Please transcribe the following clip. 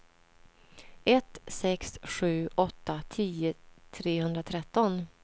ett sex sju åtta tio trehundratretton